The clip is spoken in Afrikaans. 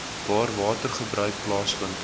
waar watergebruik plaasvind